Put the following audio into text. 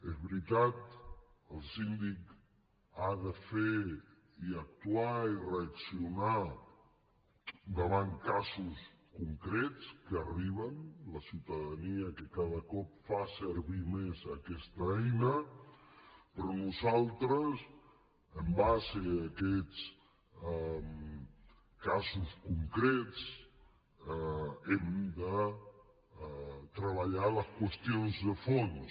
és veritat el síndic ha de fer i actuar i reaccionar davant casos concrets que arriben de la ciutadania que cada cop fa servir més aquesta eina però nosaltres amb base en aquests casos concrets hem de treballar les qüestions de fons